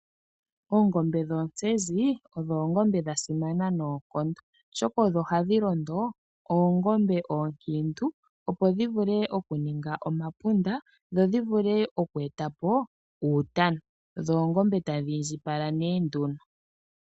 Oongombe dhoontsenzi odho oongombe dha simana noonkondo oshoka odho hadhi londo ,oongombe ookiintu opo dhi vule okuninga omapunda dho dhi vule oku eta po uutana dho tadhi indjipapala ihe.